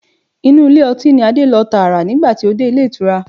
Inú ilé ọtí ni Adé lọ tààrà nígbà tó dé Ilé ìtura.